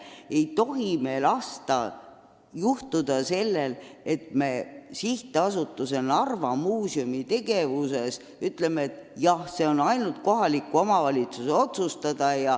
Me ei tohi lasta juhtuda sellel, et me SA Narva Muuseum tegevuse üle laseme ainult kohalikul omavalitsusel otsustada.